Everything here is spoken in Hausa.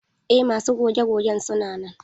Eh masu goge gogen suna nan.